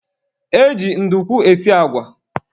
E ji ndukwu esi agwa